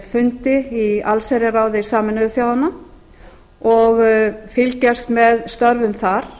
fundi í allsherjarráði sameinuðu þjóðanna og fylgjast með störfum þar